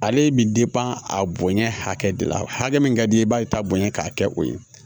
Ale bi a bonya hakɛ de la hakɛ min ka di i b'a ye ta bonya k'a kɛ o ye